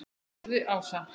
spurði Ása.